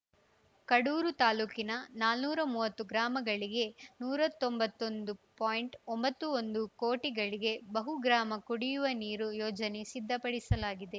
ಕಡೂರು ತಾಲೂಕಿನ ನಾನೂರು ಮುವತ್ತು ಗ್ರಾಮಗಳಿಗೆ ನೂರಾ ತೊಂಬತ್ತೊಂದು ಪಾಯಿಂಟ್ ಒಂಬತ್ತು ಒಂದು ಕೋಟಿಗಳಿಗೆ ಬಹುಗ್ರಾಮ ಕುಡಿಯುವ ನೀರು ಯೋಜನೆ ಸಿದ್ಧಪಡಿಸಲಾಗಿದೆ